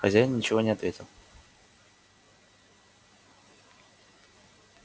хозяин ничего не ответил